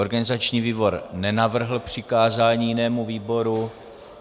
Organizační výbor nenavrhl přikázání jinému výboru.